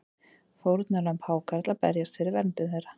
Fórnarlömb hákarla berjast fyrir verndun þeirra